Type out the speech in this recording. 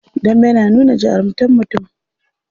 Dambe na nuna jarumtar mutum.